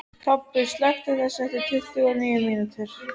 Tobbi, slökktu á þessu eftir tuttugu og níu mínútur.